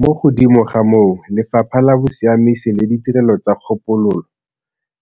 Mo godimo ga moo, Lefapha la Bosiamisi le Ditirelo tsa Kgopololo,